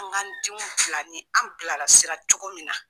An k'an denw bila ni an bilarasira cogo min na.